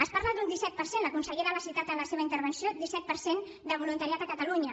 es parla d’un disset per cent la consellera ho ha citat en la seva intervenció de voluntariat a catalunya